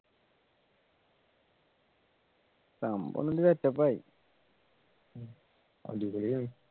സംഭവം ഒന്ന് set up ആ